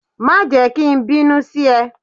Má jẹ́ ki n bínú sí e